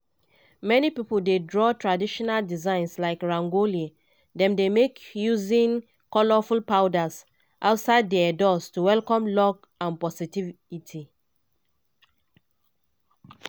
many pipo dey draw traditional designs like rangoli - dem dey make using colourful powders - outside dia doors to welcome luck and positivity.